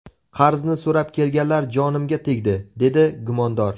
Qarzni so‘rab kelganlar jonimga tegdi”, − dedi gumondor.